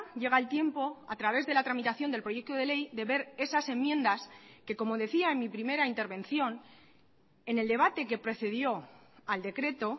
llega el tiempo a través de la tramitación del proyecto de ley de ver esas enmiendas que como decía en mi primera intervención en el debate que precedió al decreto